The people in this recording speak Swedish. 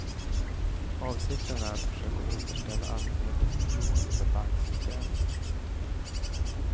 Avsikten är att försöka återställa allmänhetens förtroende för banksystemet.